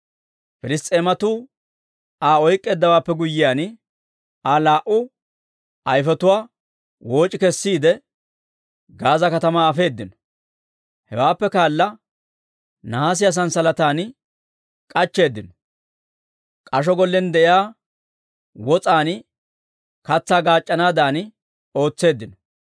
Piliss's'eematuu Aa oyk'k'eeddawaappe guyyiyaan, Aa laa"u ayfetuwaa wooc'i kessiide, Gaaza katamaa afeedino. Hewaappe kaala nahaasiyaa sanssalatan k'achcheeddinno; k'asho gollen de'iyaa wos'aan katsaa gaac'c'anaadan ootseeddino.